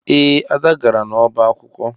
Ee, Ada gara n'ọba akwụkwọ